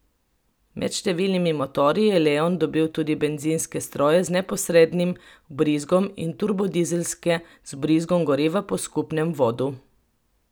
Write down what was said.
Med številnimi motorji je leon dobil tudi bencinske stroje z neposrednim vbrizgom in turbodizelske z vbrizgom goriva po skupnem vodu.